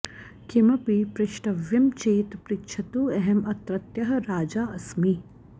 किमपि पृष्टव्यं चेत् पृच्छतु अहम् अत्रत्यः राजा अस्मि